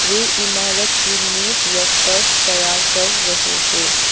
वे इमारत की नीव या फर्श तैयार कर रहे हे।